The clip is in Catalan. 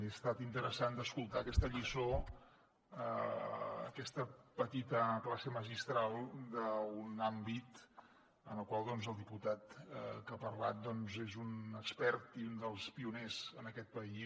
ha estat interessant d’escoltar aquesta lliçó aquesta petita classe magistral d’un àmbit en el qual el diputat que ha parlat doncs és un expert i un dels pioners en aquest país